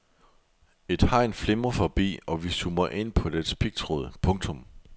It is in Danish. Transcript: Et hegn flimrer forbi og vi zoomer ind på dets pigtråd. punktum